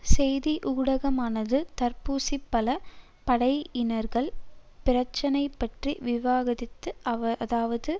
செய்தி ஊடகமானது தர்பூசிப்பழ படையினர்கள் பிரச்சினை பற்றி விவாதிக்கிறதுஅதாவது